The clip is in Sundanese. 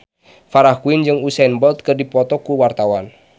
Farah Quinn jeung Usain Bolt keur dipoto ku wartawan